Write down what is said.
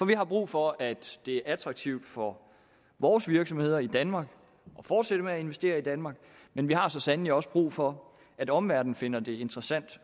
vi har brug for at det er attraktivt for vores virksomheder i danmark at fortsætte med at investere i danmark men vi har så sandelig også brug for at omverdenen finder det interessant